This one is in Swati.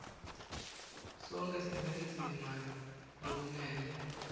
sonkhe sinendzima lokumele